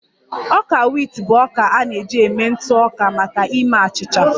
Ọka wit bụ ọka a na-eji eme ntụ ọka maka ime achịcha